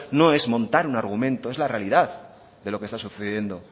no es montar un argumento es la realidad de lo que está sucediendo